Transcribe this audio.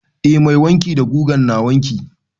Eh mai wanki da gugan na wanki.